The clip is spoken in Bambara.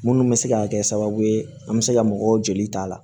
Munnu bɛ se ka kɛ sababu ye an bɛ se ka mɔgɔw jeli ta la